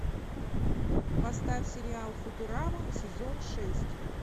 поставь сериал футурама сезон шесть